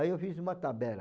Aí eu fiz uma tabela.